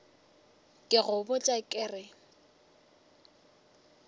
ke go botša ke re